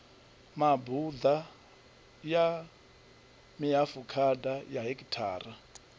mabuḓa ya mihafukhada ya hekhithara